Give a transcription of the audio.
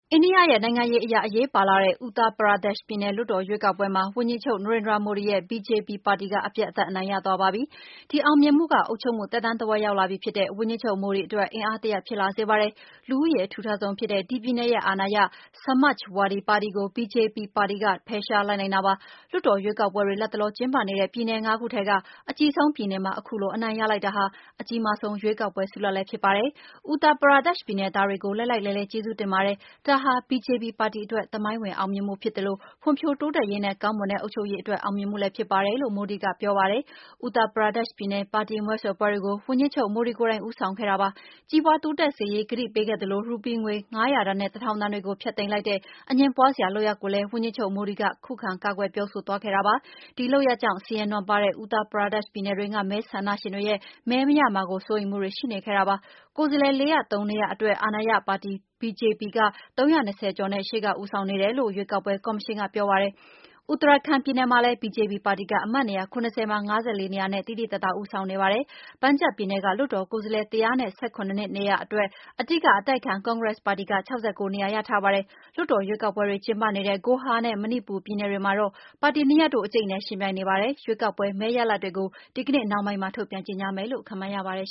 အိန္ဒိယရဲ့ နိုင်ငံရေးအရ အရေးပါလှတဲ့ အူထရာ ပရာဒက်ရှ် Uttar Pradesh ပြည်နယ် လွှတ်တော် ရွေးကောက်ပွဲမှာ အာဏာရ BJP ပါတီက အပြတ်အသတ် အနိုင်ရ သွားပါပြီ။ ဒီအောင်မြင်မှုက အုပ်ချုပ်မှု သက်တမ်း တဝက် ရောက်လာပြီဖြစ်တဲ့ ဝန်ကြီးချုပ် Narendra Modi အတွက် အင်အားဖြစ် လာစေပါတယ်။ လူဦးရေ အထူထပ်ဆုံးဖြစ်တဲ့ ဒီပြည်နယ်ရဲ့ အာဏာရ Samajwadi ပါတီကို BJP ပါတီက ဖယ်ရှားနိုင်လိုက်တာပါ။ လွှတ်တော် ရွေးကောက်ပွဲတွေ လတ်တလော ကျင်းပနေတဲ့ ပြည်နယ်ငါးခုထဲက အကြီးဆုံးပြည်နယ်မှာ ခုလို အနိုင်ရ လိုက်တာဟာ အကြီးမားဆုံးရွေးကောက်ပွဲ ဆုလဒ်လည်း ဖြစ်ပါတယ်။ အူထရာ ပရာဒက်ရှ် ြပည်နယ် သားတွေကို လှိုက်လှိုက်လှဲလှဲ ကျေးဇူးတင်ပါတယ်။ ဒါဟာ BJP ပါတီ အတွက် သမိုင်းဝင်အောင်မြင်မှုဖြစ်သလို ဖွံ့ဖြိုး တိုးတက်ရေးနဲ့ ကောင်းမွန်တဲ့ အုပ်ချုပ်ရေး အတွက်အောင်မြင်မှုလည်း ဖြစ်ပါတယ်လို့ Modi ကပြောပါတယ်။ အူထရာ ပရာဒက်ရှ်ပြည်နယ် ပါတီမဲဆွယ် ပွဲတွေကို ဝန်ကြီးချုပ်မိုဒီ ကိုယ်တိုင် ဦးဆောင် ခဲ့တာဖြစ်ပါတယ်။ ကြီးပွါး တိုးတက်လာစေရေး ကတိပေး ခဲ့သလို ရူပီးငွေ ၅၀၀ တန်နဲ့ ၁၀၀၀ တန်တွေကို ဖျက်သိမ်းလိုက်တဲ့ အငြင်းပွါးစရာ လုပ်ရပ်ကိုလည်း ဝန်ကြီးချုပ် Modi က ကာကွယ်ပြောဆို သွားခဲ့တာပါ။ ဒီလုပ်ရပ်ကြောင့် ဆင်းရဲ နွမ်းပါးတဲ့ အူထရာပရာဒက်ရှ် ပြည်နယ်တွင်းက မဲဆန ္ဒရှင်တွေရဲ့ မဲမရမှာ စိုးရိမ်မှုတွေ ရှိနေခဲ့တာ ဖြစ်ပါတယ်။ ကိုယ်စားလှယ် ၄၀၃ နေရာ အတွက် အာဏာရ BJP ပါတီ က ၃၂၀ ကျော်နဲ့ ရှေ့က ဦးဆောင်နေတယ် လို့ ရွေးကောက်ပွဲ ကော်မရှင်က ပြောပါတယ်။ Uttarakhand ပြည်နယ်မှာလည်း BJP ပါတီက အမတ်နေရာ ၇၀ မှာ ၅၄ နေရာနဲ့ သိသိသာသာ ဦးဆောင်နေပါတယ်။ Punjab ပြည်နယ်က လွှတ်တော် ကိုယ်စားလှယ် ၁၁၇ နေရာအတွက် အဓိက အတိုက်အခံ ကွန်ဂရက်ပါတီက ၆၉ နေရာ ရထားပါပြီ။ လွှတ်တော် ရွေးကောက်ပွဲတွေ ကျင်းပနေတဲ့ ဂိုဟာနဲ့ မဏိပူရ် ပြည်နယ်တွေမှာတော့ ပါတီနှစ်ရပ်တို့ အကြိတ်အနယ် ယှဉ်ပြိုင်နေကြ ပါတယ်။ ရွေးကောက်ပွဲမဲရလာဒ်တွေကို ဒီကနေ့နှောင်းပိုင်းမှာ ထုတ်ပြန်ကြေငြာ မယ်လို့ ခန့်မှန်း ရပါတယ်